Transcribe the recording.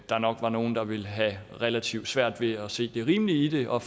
der nok var nogle der ville have relativt svært ved at se det rimelige i det og